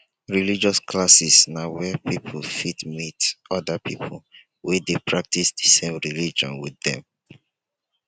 religious classes na where person fit meet oda pipo wey dey practice di same religion with dem